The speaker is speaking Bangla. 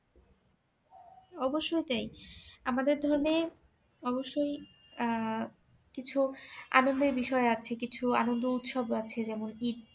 অবশ্যই তাই আমাদের ধর্মে অবশ্যই আহ কিছু আনন্দের বিষয় আছে কিছু আনন্দ উৎসব আছে যেমন ইদ